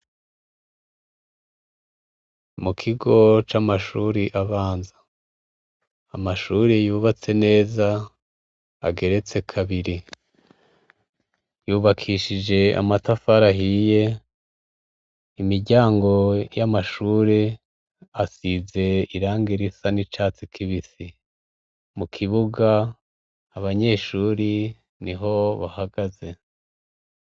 Mu kigo c'amashuri abanza amashuri yubatse neza ageretse kabiri yubakishije amatafarahiye imiryango y'amashuri asize irange risane icatsi kiba isi mu kibuga abanyeshuri ni ho bahagaze.